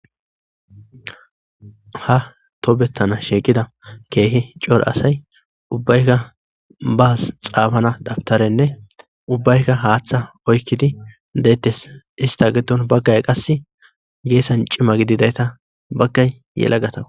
ha toobettana sheeqida keehi cora asay ubbaykka baas xaafana dabtarenne ubbaykka haaththa oykkidi deetes ista giddon baggay qasse geessan cima gididayta baggay yelagatako